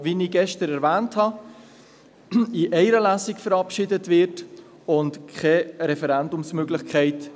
Es wird, wie ich gestern erwähnt habe, in einer Lesung verabschiedet, und es besteht keine Referendumsmöglichkeit.